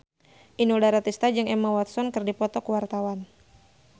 Inul Daratista jeung Emma Watson keur dipoto ku wartawan